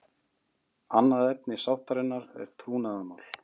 Annað efni sáttarinnar er trúnaðarmál